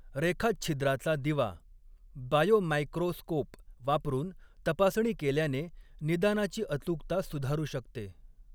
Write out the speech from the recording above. रेखाच्छिद्राचा दिवा बायोमायक्रोस्कोप वापरून तपासणी केल्याने निदानाची अचूकता सुधारू शकते.